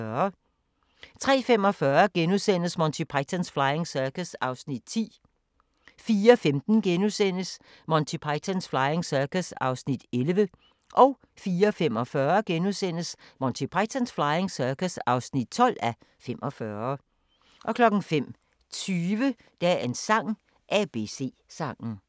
03:45: Monty Python's Flying Circus (10:45)* 04:15: Monty Python's Flying Circus (11:45)* 04:45: Monty Python's Flying Circus (12:45)* 05:20: Dagens sang: ABC-sangen *